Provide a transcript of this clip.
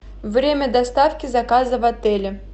время доставки заказа в отеле